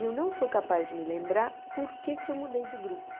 E eu não sou capaz de me lembrar por que que eu mudei de grupo.